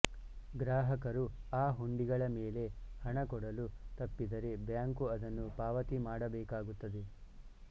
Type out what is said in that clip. ಗ್ರಾಹಕರು ಆ ಹುಂಡಿಗಳ ಮೇಲೆ ಹಣ ಕೊಡಲು ತಪ್ಪಿದರೆ ಬ್ಯಾಂಕು ಅದನ್ನು ಪಾವತಿ ಮಾಡಬೇಕಾಗುತ್ತದೆ